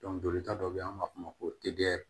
jolita dɔ bɛ yen an b'a f'o ma ko